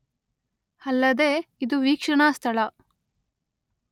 ಅಲ್ಲದೇ ಇದು ವೀಕ್ಷಣಾ ಸ್ಥಳ